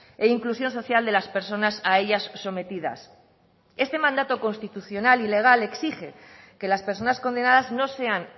e inclusión social de las personas a ellas sometidas este mandato constitucional y legal exige que las personas condenadas no sean